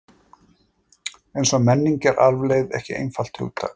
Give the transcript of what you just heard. Eins og menning er arfleifð ekki einfalt hugtak.